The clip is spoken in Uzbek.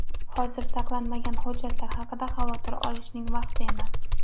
Hozir saqlanmagan hujjatlar haqida xavotir olishning vaqti emas.